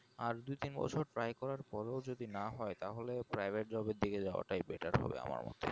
আর দুতিন বছর try করার পরও যদি না হয় তাহলে pirate/private job এর দিকে যাওয়াটাই better হবে আমার মতে